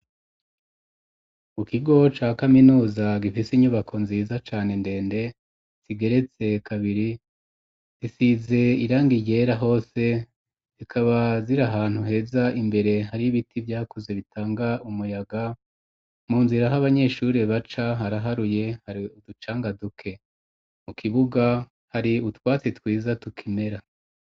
U kigo ca kaminuza gifise inyubako nziza cane ndende sigeretse kabiri isize iranga iryera hose zikabazira ahantu heza imbere hari ibiti vyakuze bitanga umuyaga mu nzira h' abanyeshuri baca haraharuye hari uducanga duke ke mu kibuga hari utwatsi twiza tukimera.